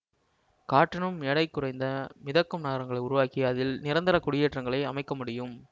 காற்றினும் எடை குறைந்த மிதக்கும் நகரங்களை உருவாக்கி அதில் நிரந்தர குடியேற்றங்களை அமைக்க முடியும்